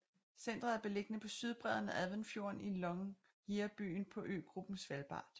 Centret er beliggende på sydbredden af Adventfjorden i Longyearbyen på øgruppen Svalbard